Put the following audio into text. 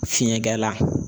Fiɲɛ gɛla